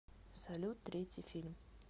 салют третий фильм